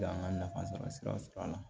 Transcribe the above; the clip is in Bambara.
An ka nafa sɔrɔ siraw sɔrɔ a la